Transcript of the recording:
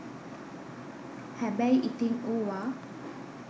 හැබැයි ඉතින් ඕව